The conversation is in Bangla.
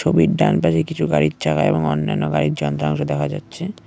ছবির ডানপাশে কিছু গাড়ির চাকা এবং অন্যান্য গাড়ির যন্ত্রাংশ দেখা যাচ্ছে।